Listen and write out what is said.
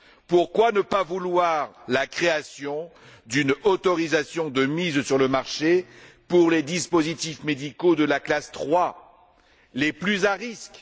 Pourquoi ne pas vouloir la création d'une autorisation de mise sur le marché pour les dispositifs médicaux de la classe 3, les plus à risque?